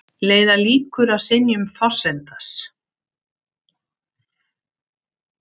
Leiða líkur að synjun forsetans